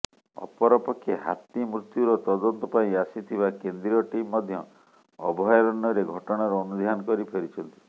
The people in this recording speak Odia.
ଅପରପକ୍ଷେ ହାତୀ ମୃତ୍ୟୁର ତଦନ୍ତ ପାଇଁ ଆସିଥିବା କେନ୍ଦ୍ରୀୟ ଟିମ୍ ମଧ୍ୟ ଅଭୟାରଣ୍ୟରେ ଘଟଣାର ଅନୁଧ୍ୟାନ କରି ଫେରିଛନ୍ତି